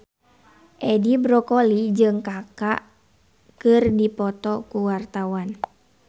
Edi Brokoli jeung Kaka keur dipoto ku wartawan